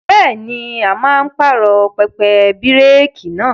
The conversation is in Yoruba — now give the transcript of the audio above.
Bẹ́ẹ̀ni, a máa pààrọ̀ pẹpẹ bíréékì náà.